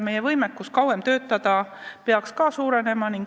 Nii et võimekus kauem töötada peaks suurenema.